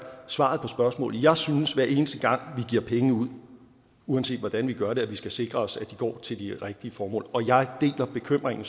svaret på spørgsmålet jeg synes at hver eneste gang vi giver penge ud uanset hvordan vi gør det skal vi sikre os at de går til de rigtige formål og jeg deler bekymringen